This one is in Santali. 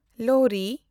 ᱞᱳᱦᱨᱤ